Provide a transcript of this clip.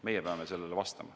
Meie peame sellele vastama.